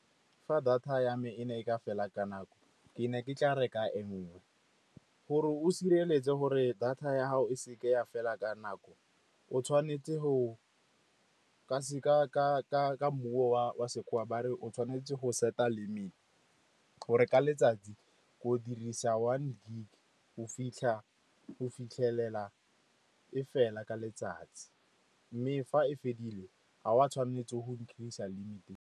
Fa data ya me e ne e ka fela ka nako, ke ne ke tla reka e nngwe. Gore o sireletse gore data ya gago e seke ya fela ka nako, o tshwanetse go ka wa sekgowa ba re o tshwanetse go set-a limit gore ka letsatsi o dirisa one gig go fitlhelela e fela ka letsatsi, mme fa e fedile ga wa tshwanetse go increase-a limit.